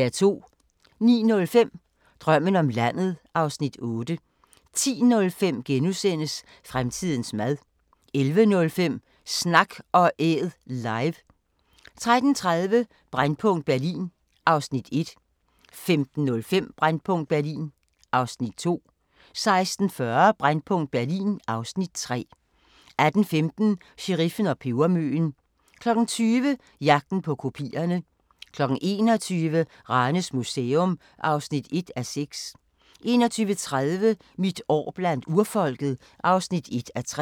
09:05: Drømmen om landet (Afs. 8) 10:05: Fremtidens mad * 11:05: Snak & Æd – live 13:30: Brændpunkt Berlin (Afs. 1) 15:05: Brændpunkt Berlin (Afs. 2) 16:40: Brændpunkt Berlin (Afs. 3) 18:15: Sheriffen og pebermøen 20:00: Jagten på kopierne 21:00: Ranes Museum (1:6) 21:30: Mit år blandt urfolket (1:3)